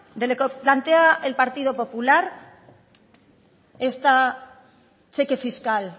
de lo que plantea el partido popular este cheque fiscal